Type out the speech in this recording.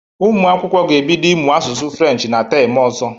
Ụmụ akwụkwọ ga-ebido ịmụ asụsụ French na tem ọzọ.